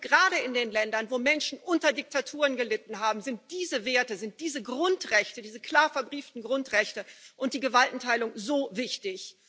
Gerade in den Ländern, wo Menschen unter Diktaturen gelitten haben, sind diese Werte, sind diese Grundrechte, diese klar verbrieften Grundrechte, und die Gewaltenteilung so wichtig.